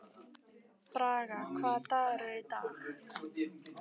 Braga, hvaða dagur er í dag?